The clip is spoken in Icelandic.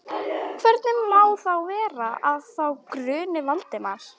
Hvernig má þá vera, að þá gruni Valdimar?